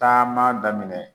Taama daminɛ